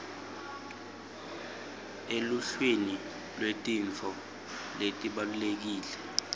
eluhlwini lwetintfo letibalulekile